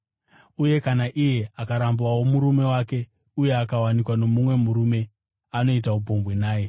Uye kana iye akarambawo murume wake uye akawanikwa nomumwe murume, anoita upombwe naye.”